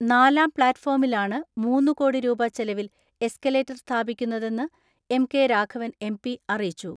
നാലാം പ്ലാറ്റ്ഫോമിലാണ് മൂന്നുകോടി രൂപ ചെലവിൽ എസ്കലേ റ്റർ സ്ഥാപിക്കുന്നതെന്ന് M K Raghavan M P അറിയിച്ചു.